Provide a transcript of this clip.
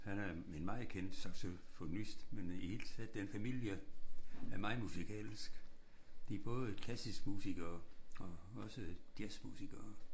Han er en meget kendt saxofonist men i hele taget den familie er meget musikalsk. De er både klassisk musikere og også jazzmusikere